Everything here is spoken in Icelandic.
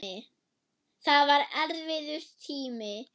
Það var erfiður tími.